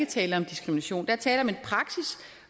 tale om diskrimination der er tale om en praksis